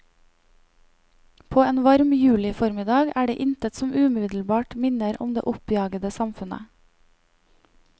På en varm juliformiddag er det intet som umiddelbart minner om det oppjagede samfunnet.